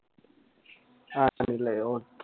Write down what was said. ആണല്ലേ Okay